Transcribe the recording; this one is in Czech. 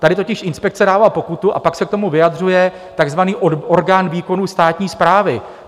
Tady totiž inspekce dává pokutu a pak se k tomu vyjadřuje takzvaný orgán výkonu státní správy.